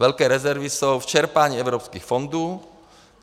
Velké rezervy jsou v čerpání evropských fondů.